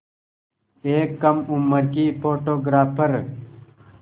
एक कम उम्र की फ़ोटोग्राफ़र